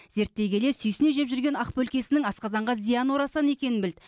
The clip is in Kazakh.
зерттей келе сүйсіне жеп жүрген ақ бөлкесінің асқазанға зияны орасан екенін білді